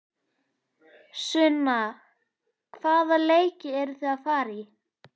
Sunna: Hvaða leiki eruð þið að fara í?